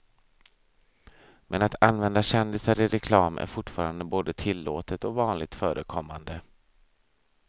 Men att använda kändisar i reklam är fortfarande både tillåtet och vanligt förekommande.